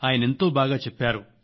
ఆయనెంతో బాగా చెప్పారు